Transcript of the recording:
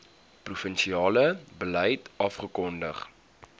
provinsiale beleid afgekondig